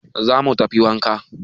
Za mu tafi wanka